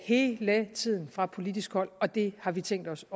hele tiden fra politisk hold og det har vi tænkt os